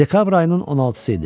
Dekabr ayının 16-sı idi.